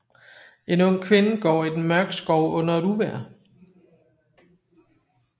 En ung kvinde går i den mørke skov under et uvejr